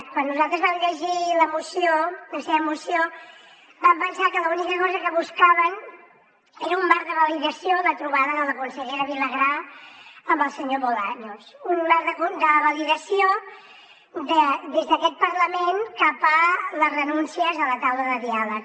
quan nosaltres vam llegir la moció la seva moció vam pensar que l’única cosa que buscaven era un marc de validació a la trobada de la consellera vilagrà amb el senyor bolaños un marc de validació des d’aquest parlament cap a les renúncies a la taula de diàleg